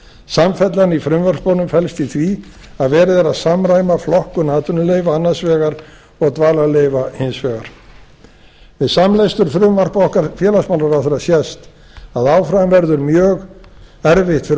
samfellan í frumvörpunum felst í því að verið er að samræma flokkun atvinnuleyfa annars vegar og dvalarleyfa hins vegar við samlestur frumvarps okkar félagsmálaráðherra sést að áfram verður mjög erfitt fyrir